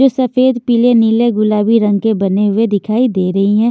जो सफेद पीले नीले गुलाबी रंग के बने हुए दिखाई दे रही हैं।